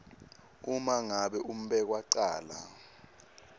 uma ngabe umbekwacala